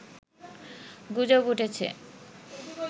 গুজব উঠেছে